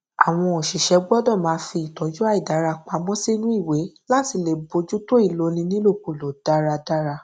àwọn òṣìṣẹ gbọdọ máa fi ìtọjú àìdára pamọ sínú ìwé láti lè bójútó ìloni nílòkulò dáradára